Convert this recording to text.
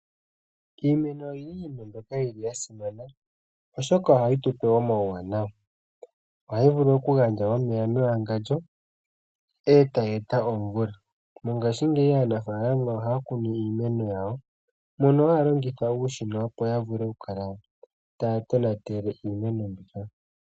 Iimeno oyindji oyili ya simana oshoka ohayitupe omawuwanawa . Ohayi vulu oku gandja omeya mewangandjo etayi eta omvula . Mongashingeyi aanafaalama ohaya kunu iimeno yawo mono haya longitha uushina opo yavule okukala taya tonatele iimeno mbika.